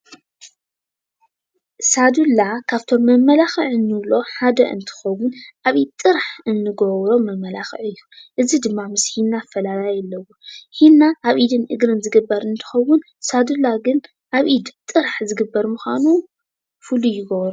ሳዱላ ካብቶም መመላኪዒ እንብሎም እንብሎ ሓደ እንትከውን ኣብ ኢድ ጥራሕ እንገብሮ መመላኪዒ እዩ፡፡ እዚ ድማ ምስ ሒና ኣፈላላይ ኣለዎ፡፡ ሕና ኣብ ኢድን እግርን ዝግበር እንትከውን ሳዱላ ግን ኣብ ኢድ ጥራሕ ዝግበር ምኳኑ ፉሉይ ይገብሮ፡፡